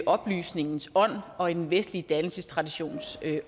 oplysningens ånd og i den vestlige dannelsestraditions